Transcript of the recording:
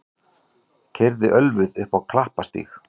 Keyrði ölvuð á Klapparstíg